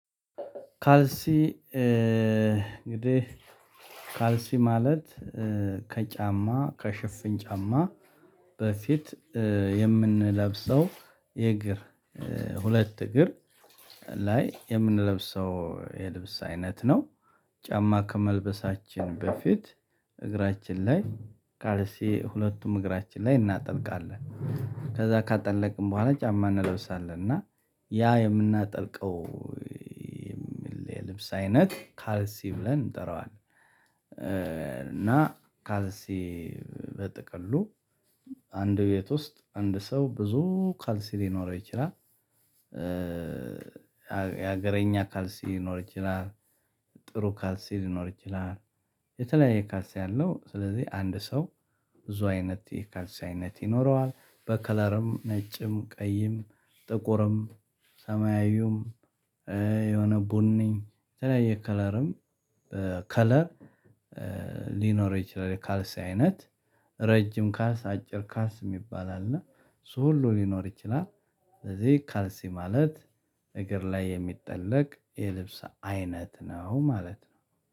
ካልሲ እንግዲህ ካልሲ ማለት ከጫማ ከሽፍን ጫማ በፊት የምንለብሰው የእግር ሁለት እግር ላይ የምንለብሰው የልብስ አይነት ነው። ጫማ ከመልበሳችን በፊት እግራችን ላይ ካልሴ ሁለቱም እግራችን ላይ እናጠልቃለን። ከዛ ካጠለቅን በኋላ ጫማ እንለብሳለን እና ያ የምናጠልቀው የሚል የልብስ አይነት ካልሲ ብለን እንጠራዋለን። እና ካልሲ በጠቅሉ አንድ ቤት ውስጥ አንድ ሰው ብዙ ካልሲ ሊኖረው ይችላል። የሀገረኛ ካልሲ ሊኖር ይችላል። ጥሩ ካልሲ ሊኖር ይችላል። የተለያየ ካልሲ ያለው ስለዚህ አንድ ሰው ብዙ አይነት የካልሲ አይነት ይኖረዋል በከለርም ነጭም ቀይም ጥቁርም ሰማያዊውም። የሆነ ቡነኝ የተለያየ ከለርም ከለር ሊኖር ይችላል። ካልሲ አይነት ረጅም ካልስ አጭር ካልስ የሚባል አለና ሶ ሁሉ ሊኖር ይችላል። ለዚህ ካልሲ ማለት እግር ላይ የሚጠለቅ የልብስ አይነት ነው ማለት ነው።